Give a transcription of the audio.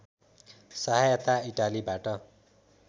सहायता इटालीबाट